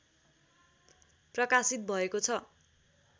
प्रकाशित भएको छ